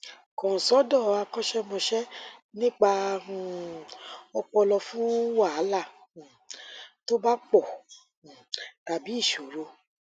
kàn sọdọ akọṣẹmọṣẹ nípa um ọpọlọ fún wàhálà um tó bá pọ um tàbí ìṣòro